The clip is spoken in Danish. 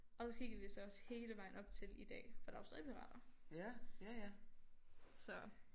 Og så kiggede vi så også hele vejen op til i dag for der er jo stadig pirater så